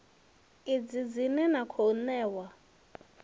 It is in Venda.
idzi dzine na khou ṋewa